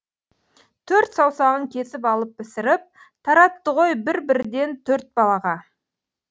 төрт саусағын кесіп алып пісіріп таратты ғой бір бірден төрт балаға